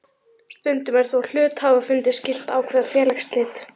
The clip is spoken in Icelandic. Stundum er þó hluthafafundi skylt að ákveða félagsslit.